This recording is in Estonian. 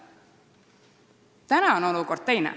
Praegu on olukord teine.